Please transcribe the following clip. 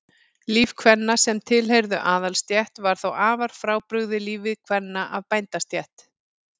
líf kvenna sem tilheyrðu aðalsstétt var þó afar frábrugðið lífi kvenna af bændastétt